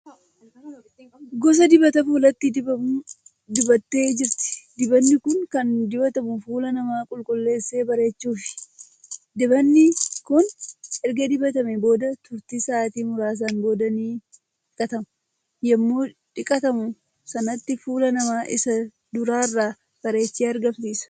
Gosa dibata fuulatti dibamu dibattee jirti. dibanni Kuni Kan dibatamu fuula namaa qulqulleessee bareechuufi. dibanni kin erga dibatamee booda turti sa'aatii muraasaan booda ni dhiqatama. yemmuu shiqatamu sanatti fuula namaa Isa duraarra bareechee argamsiisa.